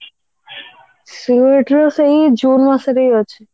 CUET ର ସେଇ june ମାସରେ ହିଁ ଅଛି